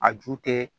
A ju tɛ